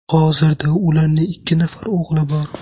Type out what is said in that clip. Hozirda ularning ikki nafar o‘g‘li bor.